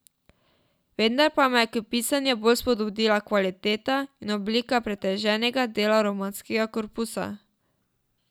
Vendar pa me je k pisanju bolj spodbudila kvaliteta in oblika pretežnega dela romanesknega korpusa.